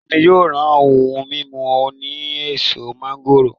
Iya mi yoo ra ohun mimu oni eso mangoro.